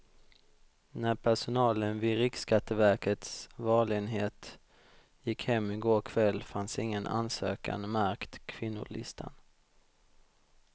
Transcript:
När personalen vid riksskatteverkets valenhet gick hem i går kväll fanns ingen ansökan märkt kvinnolistan.